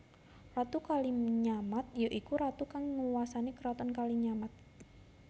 Ratu Kalinyamat ya iku Ratu kang nguwasani keraton Kalinyamat